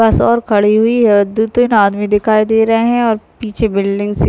बस और खड़ी हुई है दो तीन आदमी दिखाई दे रहे है और पीछे बिल्डिंग सी--